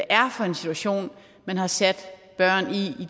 er for en situation man har sat børn i i